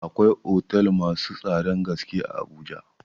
Akwai otel masu tsadan gaske a Abuja.